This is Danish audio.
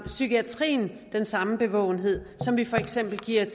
psykiatrien den samme bevågenhed som vi for eksempel giver